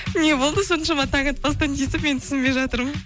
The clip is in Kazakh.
не болды соншама таң атпастан тиісіп мен түсінбей жатырмын